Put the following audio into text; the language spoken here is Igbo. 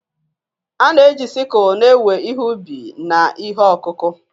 A na-eji sikul na-ewe ihe ubi na ihe ọkụkụ.